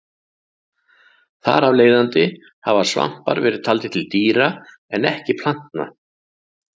Þar af leiðandi hafa svampar verið taldir til dýra en ekki plantna.